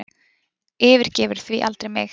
Yfirgefur því aldrei mig